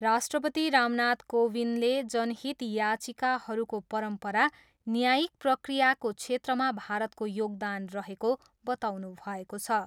राष्ट्रपति रामनाथ कोविन्दले जनहित याचिकाहरूको परम्परा न्यायिक प्रक्रियाको क्षेत्रमा भारतको योगदान रहेको बताउनुभएको छ।